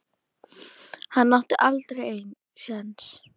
Hann átti aldrei séns.